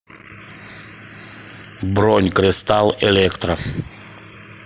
бронь кристалл электро